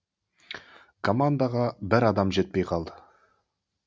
командаға бір адам жетпей қалды